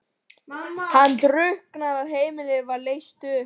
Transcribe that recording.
Hann drukknar og heimilið er leyst upp.